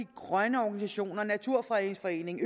grønne organisationer naturfredningsforeningen